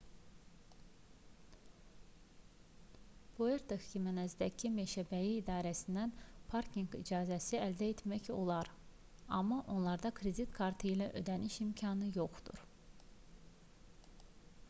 puerto ximenezdəki meşəbəyi idarəsindən parkinq icazəsi əldə etmək olar amma onlarda kredit kartı ilə ödəniş imkanı yoxdur